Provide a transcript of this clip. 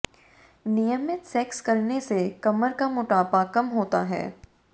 नियमित सेक्स करने से कमर का मोटापा कम होता है